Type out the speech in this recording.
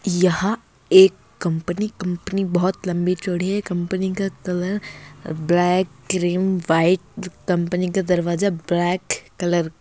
यह एक कंपनी-कंपनी बहुत लंबी चौड़ी है कंपनी का एक ब्लैक क्रीम व्हाइट कंपनी का दरवाजा ब्लैक कलर --